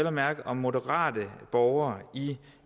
at mærke om moderate borgere i